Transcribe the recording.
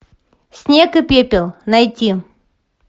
снег и пепел найти